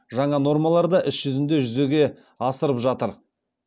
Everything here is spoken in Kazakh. жаңа нормалар да іс жүзінде жүзеге асырып жатыр